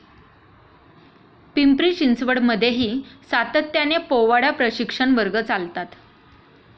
पिंपरी चिंचवड मध्येही सातत्याने पोवाडा प्रशिक्षण वर्ग चालतात.